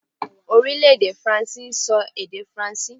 Orílèdè Faransé n so èdè faransé